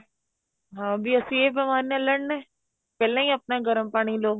ਹਾਂ ਬੀ ਅਸੀਂ ਇਹ ਬੀਮਾਰੀ ਨਾਲ ਲੜਨਾ ਪਹਿਲਾਂ ਹੀ ਆਪਣਾ ਗਰਮ ਪਾਣੀ ਲੋ